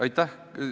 Aitäh!